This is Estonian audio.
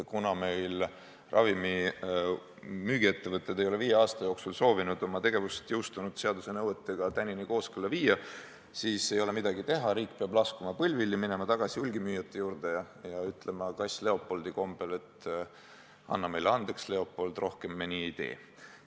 Kuna ravimimüügiettevõtted ei ole viie aasta jooksul soovinud oma tegevust jõustunud seaduse nõuetega kooskõlla viia, siis ei ole midagi teha, riik peab laskuma põlvili, minema tagasi hulgimüüjate juurde ja ütlema kass Leopoldi hiirte kombel: "Anna meile andeks, Leopold, rohkem me nii ei tee!